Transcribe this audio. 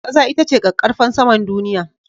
Ƙasa ita ce ƙaƙƙarfan saman duniya.